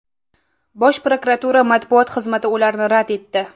Bosh prokuratura matbuot xizmati ularni rad etdi .